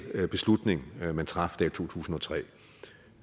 beslutning man traf der i to tusind og tre